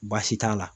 Baasi t'a la